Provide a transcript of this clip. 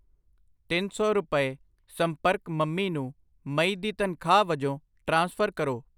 ਤਿੰਨ ਸੌ ਰੁਪਏ, ਸੰਪਰਕ ਮੰਮੀ ਨੂੰ ਮਈ ਦੀ ਤਨਖਾਹ ਵਜੋਂ ਟ੍ਰਾਂਸਫਰ ਕਰੋ I